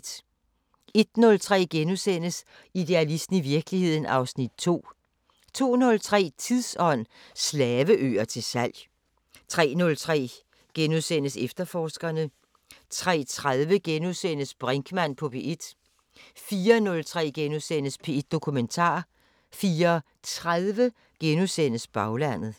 01:03: Idealisten – i virkeligheden (Afs. 2)* 02:03: Tidsånd: Slaveøer til salg 03:03: Efterforskerne * 03:30: Brinkmann på P1 * 04:03: P1 Dokumentar * 04:30: Baglandet *